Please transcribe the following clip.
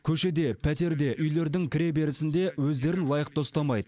көшеде пәтерде үйлердің кіреберісінде өздерін лайықты ұстамайды